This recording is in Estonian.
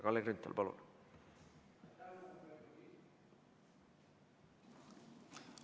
Kalle Grünthal, palun!